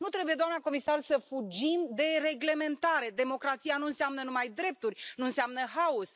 Nu trebuie, doamna comisar, să fugim de reglementare. Democrația nu înseamnă numai drepturi, nu înseamnă haos.